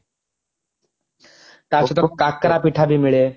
ତା ସହିତ କାକରା ପିଠା ବି ମିଳେ